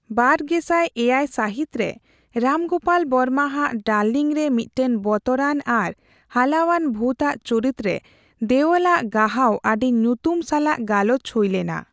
᱒᱐᱐᱗ ᱥᱟᱹᱦᱤᱛ ᱨᱮ, ᱨᱟᱢ ᱜᱳᱯᱟᱞ ᱵᱚᱨᱢᱟ ᱟᱜ ᱰᱟᱨᱞᱤᱝ ᱨᱮ ᱢᱤᱫᱴᱟᱝ ᱵᱚᱛᱚᱨᱟᱱ ᱟᱨ ᱦᱟᱞᱟᱣᱟᱱ ᱵᱷᱩᱛᱼᱟᱜ ᱪᱩᱨᱤᱛ ᱨᱮ ᱫᱮᱣᱚᱞ ᱟᱜ ᱜᱟᱦᱟᱣ ᱟᱹᱰᱤ ᱧᱩᱛᱩᱢ ᱥᱟᱞᱟᱜ ᱜᱟᱞᱚᱪ ᱦᱩᱭᱞᱮᱱᱟ ᱾